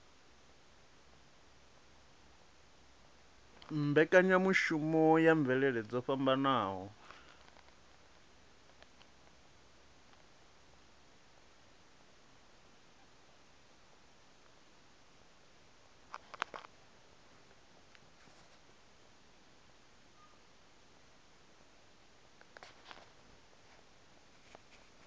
mbekanyamushumo ya mvelele dzo fhambanaho